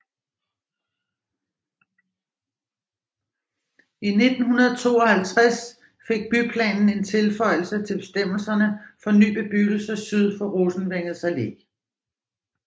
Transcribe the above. I 1952 fik byplanen en tilføjelse til bestemmelserne for ny bebyggelse syd for Rosenvængets Allé